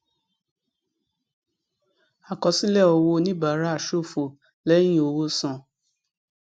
àkọsílẹ owó oníbàárà ṣófo lẹyìn owó san